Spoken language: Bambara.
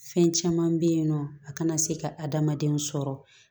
Fɛn caman bɛ yen nɔ a kana se ka adamadenw sɔrɔ